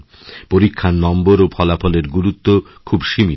পরীক্ষার নম্বর ও ফলাফলের গুরুত্ব খুব সীমিত